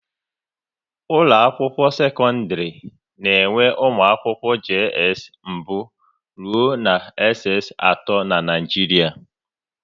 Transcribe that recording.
Ụlọ akwụkwọ sekọndrị na enwe ụmụ akwụkwọ JS mbụ rụọ na SS atọ n'Naijiria